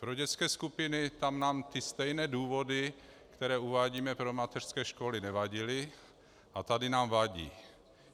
Pro dětské skupiny, tam nám ty stejné důvody, které uvádíme pro mateřské školy, nevadily, a tady nám vadí.